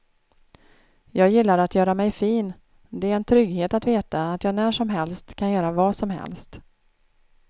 Jag gillar att göra mig fin, det är en trygghet att veta att jag när som helst kan göra vad som helst.